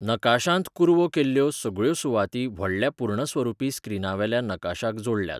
नकाशांत कुरवो केल्ल्यो सगळ्यो सुवाती व्हडल्या पूर्णस्वरुपी स्क्रीनावेल्या नकाशाक जोडल्यात.